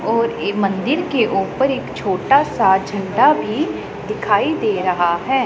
और ये मंदिर के ऊपर एक छोटा सा झंडा भी दिखाई दे रहा है।